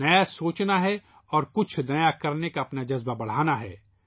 نیا سوچنا ہے اور کچھ نیا کرنے کا اپنا جذبہ بڑھانا ہے